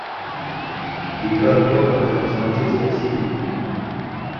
игра тоттенхэм с манчестер сити